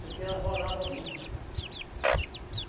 Porque ela rolava muito.